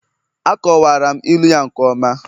Akọwara m ilu ya nke ọma